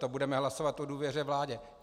To budeme hlasovat o důvěře vládě.